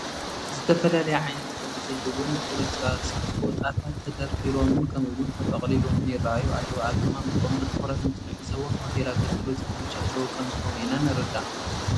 ዝተፈላለየ ዓይነት ሕብሪ ዘለዎም ቁርፅራፅ ፎጣታት ተደርዲሮምን ከምኡውን ተጠቕሊሎምን ይርአዩ ኣለዉ፡፡ ኣቀማምጥኦም ብትኹረት እንትንዕዘቦ ንሆቴል ኣገልግሎት ዝተመቻቸዉ ከምዝኾኑ ኢና ንርዳእ፡፡